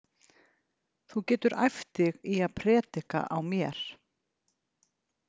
Þú getur æft þig í að predika á mér.